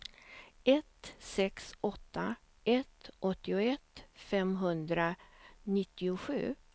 ett sex åtta ett åttioett femhundranittiosju